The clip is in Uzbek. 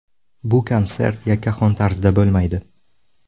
Bu konsert yakkaxon tarzda bo‘lmaydi.